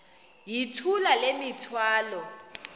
yithula le mithwalo